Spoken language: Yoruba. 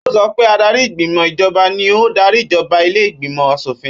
Ó sọ pé adarí ìgbìmò ìjọba ni ó ún darí ìjọba ilé ìgbìmò aṣòfin.